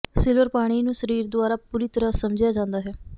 silver ਪਾਣੀ ਨੂੰ ਸਰੀਰ ਦੁਆਰਾ ਪੂਰੀ ਤਰ੍ਹਾਂ ਸਮਝਿਆ ਜਾਂਦਾ ਹੈ